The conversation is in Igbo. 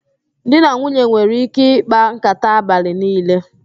Di na nwunye nwere ike ịkpa nkàtá abalị niile